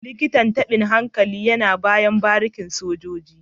Likitan tabin hankali yana bayan barikin sojoji 44